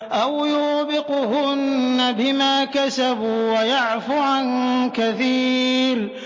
أَوْ يُوبِقْهُنَّ بِمَا كَسَبُوا وَيَعْفُ عَن كَثِيرٍ